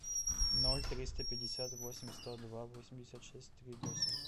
ноль триста пятьдесят восемь сто два восемьдесят шесть три восемь